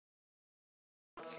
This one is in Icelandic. Það var fínt.